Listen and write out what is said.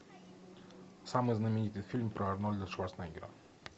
самый знаменитый фильм про арнольда шварценеггера